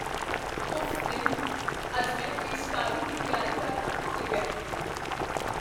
ਉਫ਼ ਨਹੀਂ! ਅੱਜ ਮੈਂ ਪੇਸ਼ਕਾਰੀ ਦੀ ਤਿਆਰੀ ਕਰਨਾ ਭੁੱਲ ਗਿਆ।